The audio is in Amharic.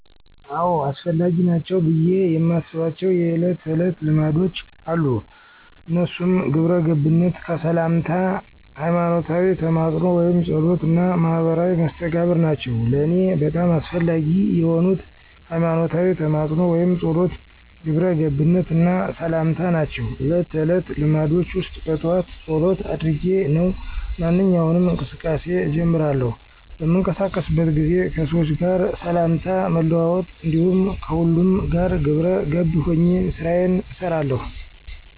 አዎ! አስፈላጊ ናቸው ብየ የማስባቸው የእለት ተዕለት ልማዶች አሉ። እነሱም ግብረገብነት፣ ከሠላምታ፣ ሀይማኖታዊ ተማፅኖ ወይም ፀሎት እና ማህበራዊ መስተጋብር ናቸው። ለእኔ በጣም አስፈላጊ የሆኑት፦ ሀይማኖታዊ ተማፅኖ ወይም ፀሎት፣ ግብረ ገብነት እና ሠላምታ ናቸው። እለት ተዕለት ልማዶቸ ውስጥ በጠዋት ፀሎት አድርጌ ነው ማንኛውንም እንቅስቃሴ እጀምራለሁ። በምንቀሳቀስበት ጊዜ ከሠዎች ጋር ሠላምታ መለዋወጥ እንዲሁም ከሁሉም ጋር ግብረ ገብ ሆኘ ስራየን እሠራለሁ።